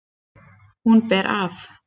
Hún ber af.